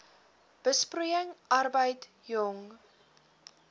besproeiing arbeid jong